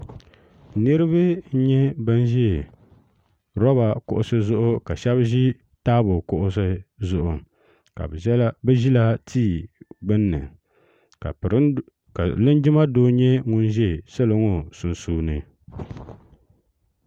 niraba n nyɛ bin ʒi roba kuɣusi zuɣu ka shab ʒi taabo kuɣusi zuɣu ka bi ʒila tia gbunni ka linjima doo nyɛ ŋun ʒɛ salo ŋo sunsuuni